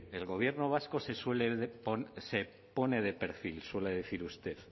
el gobierno vasco se pone de perfil suele decir usted